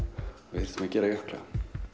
við þyrftum að gera jökla